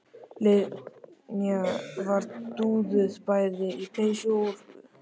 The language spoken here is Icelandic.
Linja var dúðuð bæði í peysu og úlpu.